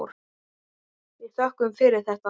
Við þökkum fyrir þetta.